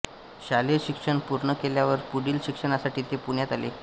शालेय शिक्षण पूर्ण केल्यावर पुढील शिक्षणासाठी ते पुण्यात आले